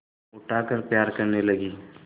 उठाकर प्यार करने लगी